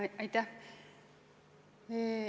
Aitäh!